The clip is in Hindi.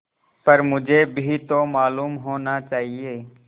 पर मुझे भी तो मालूम होना चाहिए